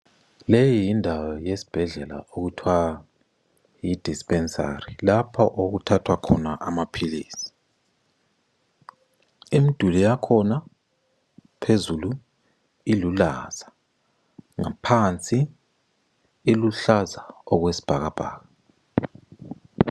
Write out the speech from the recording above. Leyi yindawo yesibhedlela okuthwa yidispensari lapha okuthathwa khona amaphilisi. Imiduli yakhona phezulu ilulaza. Ngaphansi iluhlaza okwesibhakabhaka.